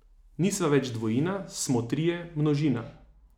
Nisva več dvojina, smo trije, množina.